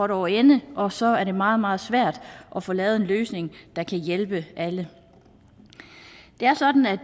over ende og så er det meget meget svært at få lavet en løsning der kan hjælpe alle det er sådan at